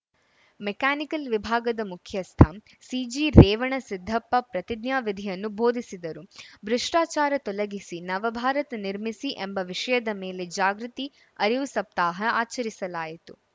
mechanical ವಿಭಾಗದ ಮುಖ್ಯಸ್ಥ ಸಿಜಿರೇವಣಸಿದ್ದಪ್ಪ ಪ್ರತಿಜ್ಞಾ ವಿಧಿಯನ್ನು ಬೋಧಿಸಿದರು ಭ್ರಷ್ಟಾಚಾರ ತೊಲಗಿಸಿ ನವಭಾರತ ನಿರ್ಮಿಸಿ ಎಂಬ ವಿಷಯದ ಮೇಲೆ ಜಾಗೃತಿ ಅರಿವು ಸಪ್ತಾಹ ಆಚರಿಸಲಾಯಿತು